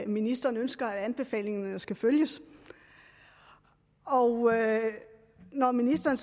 ministeren ønsker at anbefalingerne skal følges når når ministeren